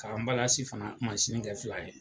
K'ambalansi fana masini kɛ fila ye.